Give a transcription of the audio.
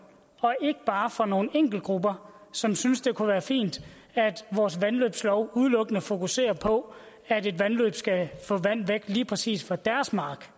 og ikke bare for nogle enkeltgrupper som synes det kunne være fint at vores vandløbslov udelukkende fokuserer på at et vandløb skal få vand væk lige præcis fra deres mark